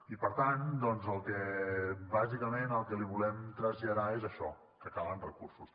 i per tant bàsicament el que li volem traslladar és això que calen recursos